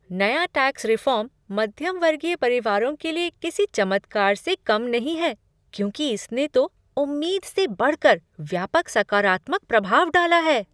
नया tax reform मध्यम वर्गीय परिवारों के लिए किसी चमत्कार से कम नहीं है क्योंकि इसने तो उम्मीद से बढ़ कर व्यापक सकारात्मक प्रभाव डाला है।